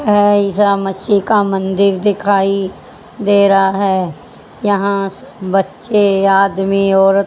अ ईसा मसीह का मंदिर दिखाई दे रहा है यहां बच्चे आदमी और--